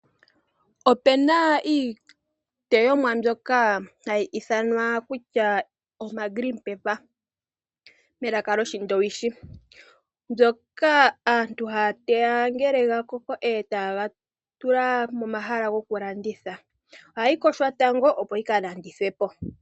Opena iiteyomwa mbyoka hayi ithanwa kutya oma green paper melaka lyoshindowishi mbyoka aantu hateya ngele ga koko etaye ga tula momahala goku landitha ohayi yogwa tango opo yika landithwe po.